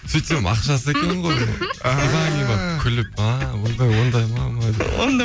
сөйтсем ақшасы екен ғой күліп ааа ойбай ондай ма